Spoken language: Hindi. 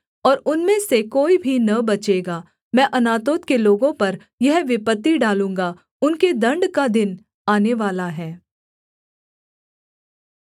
और उनमें से कोई भी न बचेगा मैं अनातोत के लोगों पर यह विपत्ति डालूँगा उनके दण्ड का दिन आनेवाला है